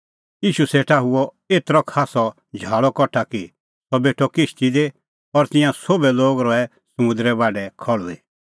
ईशू सेटा हुअ एतरअ खास्सअ झाल़अ कठा कि सह बेठअ किश्ती दी और तिंयां सोभै लोग रहै समुंदरे बाढै खल़्हुई